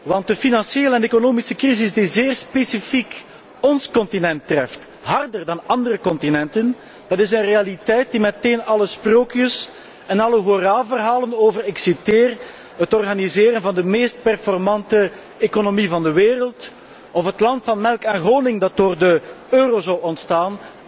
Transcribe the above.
Want de financiële en economische crisis die zeer specifiek ons continent treft, harder dan andere continenten, is een realiteit die meteen alle sprookjes en alle hoera verhalen over ik citeer het organiseren van de meest performante economie van de wereld of het land van melk en honing dat door de euro zou ontstaan,